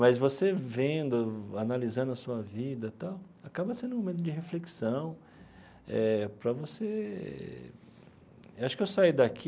Mas você vendo, analisando a sua vida tal, acaba sendo um momento de reflexão eh para você... Acho que eu saí daqui